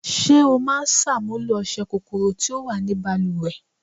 Ṣé o ń ṣàmúlò ọṣẹ́ kòkòrò tí ó wà ni baluwẹ̀?